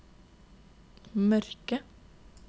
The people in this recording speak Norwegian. mørke